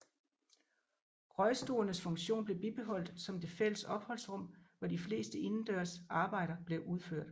Røgstuernes funktion blev bibeholdt som det fælles opholdsrum hvor de fleste indendørs arbejder blev udført